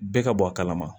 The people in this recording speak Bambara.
Bɛɛ ka bɔ a kalama